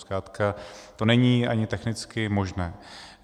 Zkrátka to není ani technicky možné.